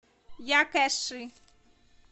якэши